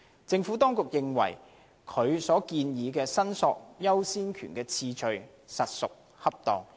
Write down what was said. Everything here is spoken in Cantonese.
政府當局認為，所建議的申索優先權次序實屬恰當。